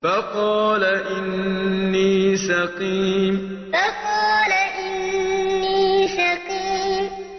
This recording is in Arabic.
فَقَالَ إِنِّي سَقِيمٌ فَقَالَ إِنِّي سَقِيمٌ